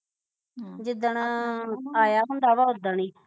ਜਿੱਦਣ ਆਇਆ ਹੁੰਦਾ ਵਾ ਉਦਣ ਈ